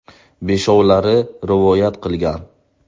Beshovlari rivoyat qilgan.